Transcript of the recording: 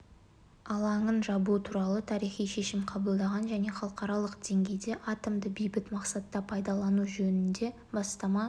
алаңын жабу туралы тарихи шешім қабылдаған және халықаралық деңгейде атомды бейбіт мақсатта пайдалану жөнінде бастама